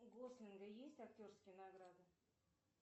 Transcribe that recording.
у гослинга есть актерские награды